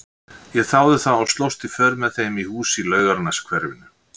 Ég þáði það og slóst í för með þeim í hús í Laugarneshverfinu.